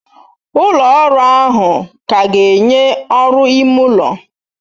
Ụlọ ọrụ ahụ ka ga-enye ọrụ ime ụlọ.